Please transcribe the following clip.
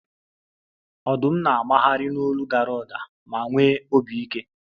Ọdụm na-agbagharị n'olu dara ụda ma nwee obi ike